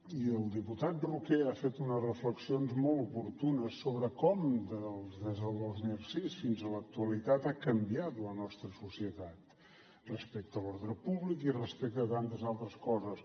i el diputat roqué ha fet unes reflexions molt oportunes sobre com des del dos mil sis fins a l’actualitat ha canviat la nostra societat respecte a l’ordre públic i respecte a tantes altres coses